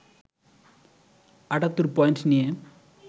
৭৮ point নিয়ে